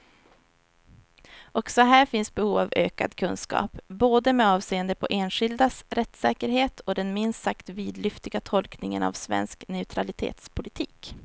Också här finns behov av ökad kunskap, både med avseende på enskildas rättssäkerhet och den minst sagt vidlyftiga tolkningen av svensk neutralitetspolitik.